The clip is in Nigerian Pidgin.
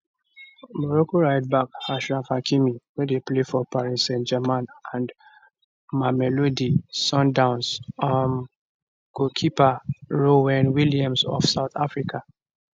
morocco rightback achraf hakimi wey dey play for paris saintgermain and mamelodi sundowns um goalkeeper ronwen williams of south africa